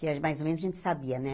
Que a mais ou menos a gente sabia, né?